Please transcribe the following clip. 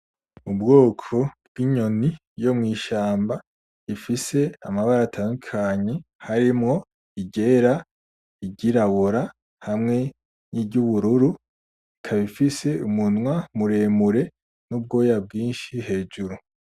Ubwoko b'inyoni yo mw'ishamba ifise amabara atandukanye harimwo iryera, iryirabura, hamwe n'iryubururu. Ikaba ifise umunwa muremure n'ubwoya bwinshi hejuru.